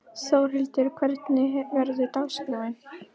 Þórhildur, hvernig verður dagskráin?